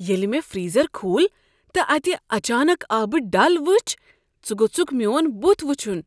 ییٚلہ مےٚ فریزر کھوٗل تہٕ اتہِ اچانک آبہٕ ڈل وٕچھۍ ژٕ گوژھُكھ میون بُتھ وٕچھُن۔